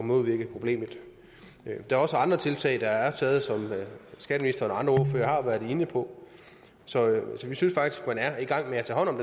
modvirke problemet der er også andre tiltag der er taget som skatteministeren og andre ordførere har været inde på så vi synes faktisk at man er i gang med at tage hånd om